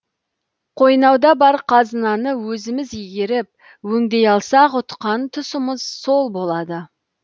қойнауда бар қазынаны өзіміз игеріп өңдей алсақ ұтқан тұсымыз сол болады